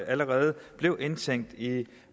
allerede blev indtænkt i